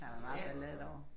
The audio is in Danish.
Der har været meget ballade derovre